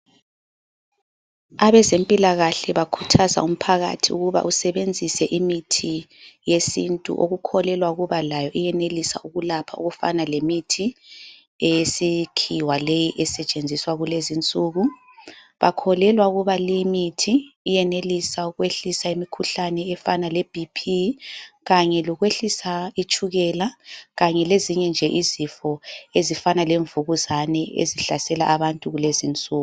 Abezempilakahle bakhuthaza umphakathi ukuba usebenzise imithi yesintu okukholelwa ukuba layo iyenelisa ukulapha okufana lemithi eyesikhiwa leyi esetshenziswa kulezinsuku. Bakholelwa ukuba limithi yenelisa ukwehlisa imikhuhlane efana leBP kanye lokwehlisa itshukela kanye lezinye nje izifo ezifana lemvukuzane ezihlasela abantu kulezi insuku.